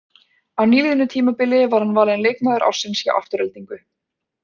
Á nýliðnu tímabili var hann valinn leikmaður ársins hjá Aftureldingu.